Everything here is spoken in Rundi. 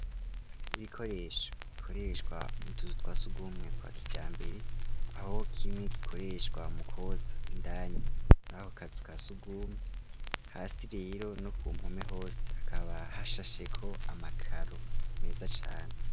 Ibikoresho bikoreshwa mu tuzu twa sugumwe twa kija mbere aho kimwe gikoreshwa mukoza indani muri ahokazu wa sugumwe hasi rero no ku mpome hose hakaba ha shasheko amakaro meza cane.